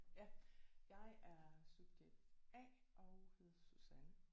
Ja jeg er subjekt A og hedder Susanne